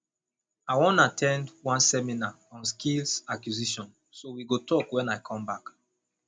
i wan at ten d one seminar on skills acquisition so we go talk wen i come back